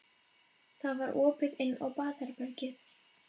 Það var opið inn á baðherbergið.